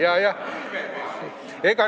Jajah.